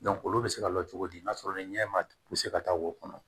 olu bɛ se ka lalo cogo di n'a sɔrɔ ni ɲɛ ma ka taa wo kɔnɔ